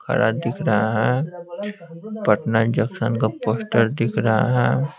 खड़ा दिख रहा है पटना जंक्शन का पोस्टर दिख रहा है।